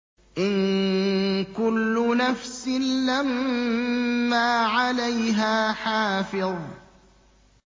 إِن كُلُّ نَفْسٍ لَّمَّا عَلَيْهَا حَافِظٌ